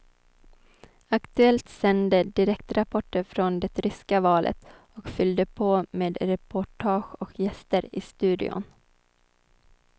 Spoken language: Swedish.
Aktuellt sände direktrapporter från det ryska valet och fyllde på med reportage och gäster i studion.